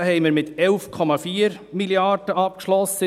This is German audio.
Im Jahr 2018 schlossen wir mit 11,4 Mrd. ab.